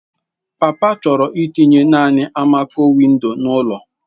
Papa chọrọ itinye naanị almaco-window n'ụlọ.